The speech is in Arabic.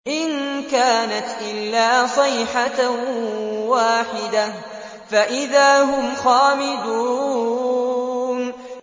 إِن كَانَتْ إِلَّا صَيْحَةً وَاحِدَةً فَإِذَا هُمْ خَامِدُونَ